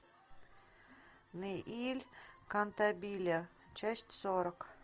нэиль кантабиле часть сорок